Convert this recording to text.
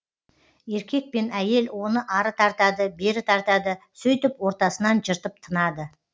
еркек пен әйел оны ары тартады бері тартады сөйтіп ортасынан жыртып тынады